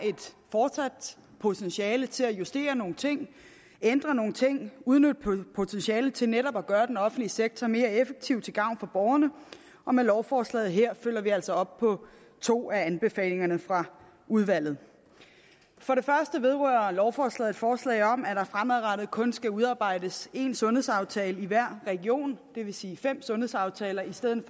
potentiale til at justere nogle ting ændre nogle ting udnytte potentialet til netop at gøre den offentlige sektor mere effektiv til gavn for borgerne og med lovforslaget her følger vi altså op på to af anbefalingerne fra udvalget for det første vedrører lovforslaget et forslag om at der fremadrettet kun skal udarbejdes én sundhedsaftale i hver region det vil sige fem sundhedsaftaler i stedet